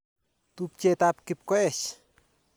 Tupchet ap Kipkoech.